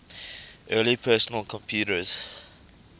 early personal computers